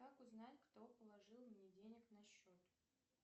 как узнать кто положил мне денег на счет